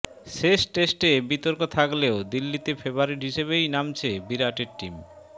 শেষ টেস্টে বিতর্ক থাকলেও দিল্লিতে ফেভারিট হিসাবেই নামছে বিরাটের টিম